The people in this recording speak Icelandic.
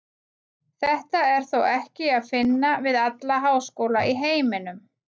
Þetta er þó ekki að finna við alla háskóla í heiminum.